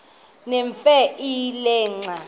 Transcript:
nemfe le xa